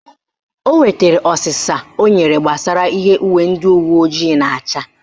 O nwetara ọsịsa o nyere gbasara ihe uwe ndị uweojii na-acha